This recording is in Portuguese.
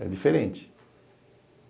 É diferente.